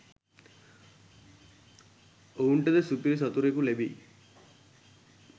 ඔවුන්ට ද සුපිරි සතුරෙකු ලැබෙයි